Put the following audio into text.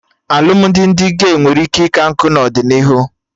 Alụmdi ndị gey nwere ike ika nkụ n'ọdịnihu